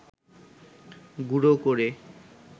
গুঁড়ো করে